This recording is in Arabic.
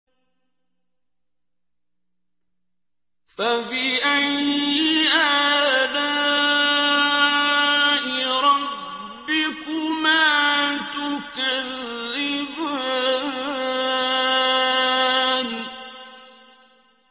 فَبِأَيِّ آلَاءِ رَبِّكُمَا تُكَذِّبَانِ